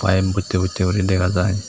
pipe bottey bottey guri dega jai.